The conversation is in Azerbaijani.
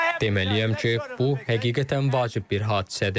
Deməliyəm ki, bu həqiqətən vacib bir hadisədir.